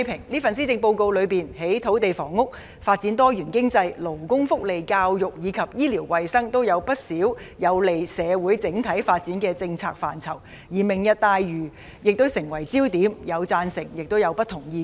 這份施政報告在土地房屋、發展多元經濟、勞工福利、教育和醫療衞生各方面提出了不少有利於社會整體發展的政策，而"明日大嶼"亦成為焦點，既有人贊成，亦有人持不同意見。